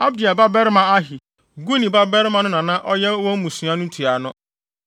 Abdiel babarima Ahi, Guni babarima no na na ɔyɛ wɔn mmusua no ntuano.